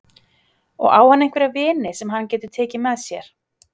Og á hann einhverja vini sem hann getur tekið með sér?